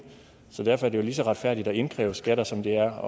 så derfor er det jo lige så retfærdigt at indkræve skatter som det er at